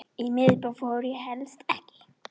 Í miðbæ fór ég helst ekki.